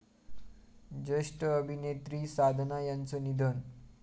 ज्येष्ठ अभिनेत्री साधना यांचं निधन